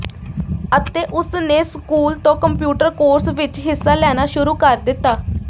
ਅਤੇ ਉਸਨੇ ਸਕੂਲ ਤੋਂ ਕੰਪਿਊਟਰ ਕੋਰਸ ਵਿਚ ਹਿੱਸਾ ਲੈਣਾ ਸ਼ੁਰੂ ਕਰ ਦਿੱਤਾ